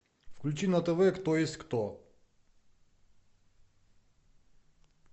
включи на тв кто есть кто